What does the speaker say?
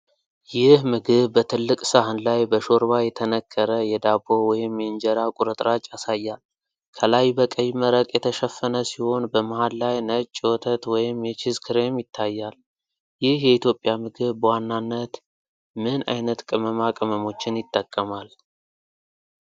ይህ ምግብ በትልቅ ሳህን ላይ በሾርባ የተነከረ የዳቦ ወይም የእንጀራ ቁርጥራጭ ያሳያል። ከላይ በቀይ መረቅ የተሸፈነ ሲሆን፣ በመሃል ላይ ነጭ የወተት ወይም የቺዝ ክሬም ይታያል። ይህ የኢትዮጵያ ምግብ በዋናነት ምን ዓይነት ቅመማ ቅመሞችን ይጠቀማል?